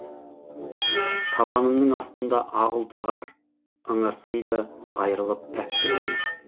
табанымның астында ақ ұлпа қар ыңырсыйды айырылып пәктігінен